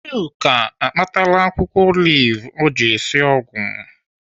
Chuka akpatala akwụkwọ olive ọ ji esi ọgwụ.